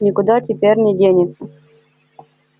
никуда теперь не денется